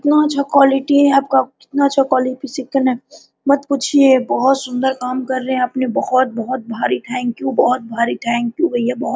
कितना अच्छा क्वॉलिटी आप का कितना अच्छा क्वालिफिकेशन मत पूछिए बहुत सुन्दर काम कर रहे है आपने बहुत बहुत भरी थैंक यू बहुत भरी थैंक यू भैया बहुत--